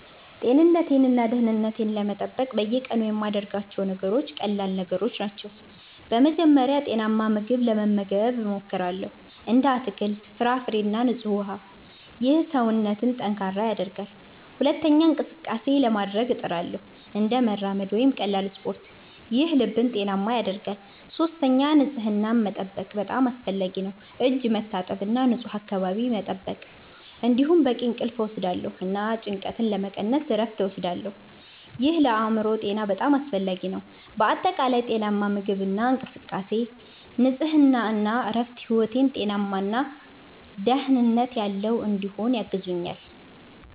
ጤንነቴን እና ደህንነቴን ለመጠበቅ በየቀኑ የምያደርጋቸው ነገሮች ቀላል ነገሮች ናቸው። በመጀመሪያ ጤናማ ምግብ መመገብ እሞክራለሁ፣ እንደ አትክልት፣ ፍራፍሬ እና ንጹህ ውሃ። ይህ ሰውነትን ጠንካራ ያደርጋል። ሁለተኛ እንቅስቃሴ (exercise) ማድረግ እጥርሳለሁ፣ እንደ መራመድ ወይም ቀላል ስፖርት። ይህ ልብን ጤናማ ያደርጋል። ሶስተኛ ንጽህናን መጠበቅ በጣም አስፈላጊ ነው፣ እጅ መታጠብ እና ንፁህ አካባቢ መጠበቅ። እንዲሁም በቂ እንቅልፍ እወስዳለሁ እና ጭንቀትን ለመቀነስ እረፍት እወስዳለሁ። ይህ ለአእምሮ ጤና በጣም አስፈላጊ ነው። በአጠቃላይ ጤናማ ምግብ፣ እንቅስቃሴ፣ ንጽህና እና እረፍት ሕይወቴን ጤናማ እና ደህንነት ያለው እንዲሆን ያግዙኛል